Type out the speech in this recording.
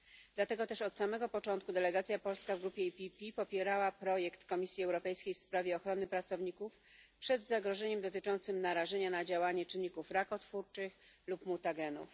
Dlatego też od samego początku delegacja polska w grupie PPE popierała projekt Komisji Europejskiej w sprawie ochrony pracowników przed zagrożeniem dotyczącym narażenia na działanie czynników rakotwórczych lub mutagenów.